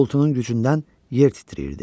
Uğultunun gücündən yer titrəyirdi.